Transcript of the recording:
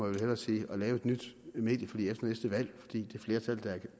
vel hellere sige at lave et nyt medieforlig efter næste valg fordi det flertal der er